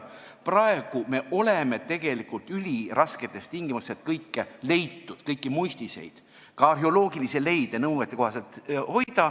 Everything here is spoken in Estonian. Praegu on meil tegelikult ülirasked tingimused, et kõike leitut, kõiki muistiseid ja ka arheoloogilisi leide nõuetekohaselt hoida.